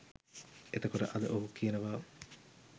එතකොට අද ඔහු කියනවා